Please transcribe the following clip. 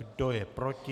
Kdo je proti?